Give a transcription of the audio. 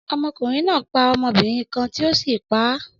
Ọkunrin naa pa ọmọbirin kan ti o si pa a